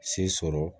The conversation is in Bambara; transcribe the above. Se sɔrɔ